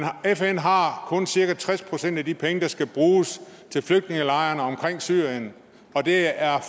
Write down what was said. fn har kun cirka tres procent af de penge der skal bruges til flygtningelejrene omkring syrien og det er